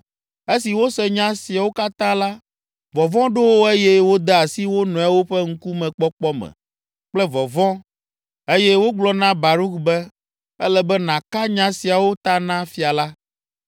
Esi wose nya siawo katã la, vɔvɔ̃ ɖo wo eye wode asi wo nɔewo ƒe ŋkume kpɔkpɔ me kple vɔvɔ̃ eye wogblɔ na Baruk be, “Ele be nàka nya siawo ta na fia la.”